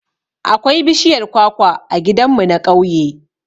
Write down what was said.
Akwai bishiyar kwakwa a gidan mu na ƙauye